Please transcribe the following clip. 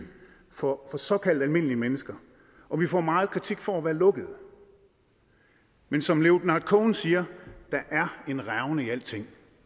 for såkaldt almindelige mennesker og vi får meget kritik for at være lukkede men som leonard cohen siger der er en revne i alting